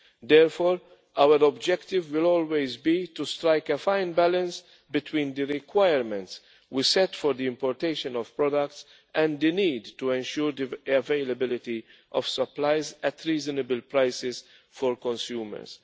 Therefore our objective will always be to strike a fine balance between the requirements we set for the importing of products and the need to ensure the availability of supplies at reasonable prices for consumers.